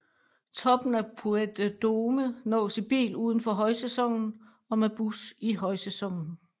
Toppen af Puy de Dôme nås i bil uden for højsæsonen og med bus i højsæsonen